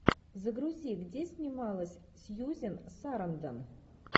загрузи где снималась сьюзан сарандон